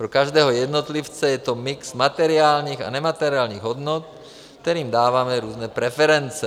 Pro každého jednotlivce je to mix materiálních a nemateriálních hodnot, kterým dáváme různé preference.